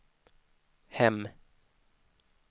hem